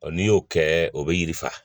Ɔ n'i y'o kɛ o bɛ yiri faa